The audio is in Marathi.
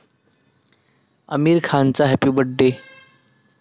आमिर खानचा हॅपी बर्थ डे